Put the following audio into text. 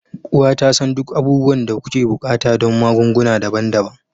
Uwa ta san duk abubuwan da kuke buƙata don magunguna daban-daban.